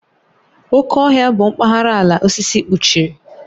Oké Ọhịa bụ mpaghara ala osisi kpuchiri.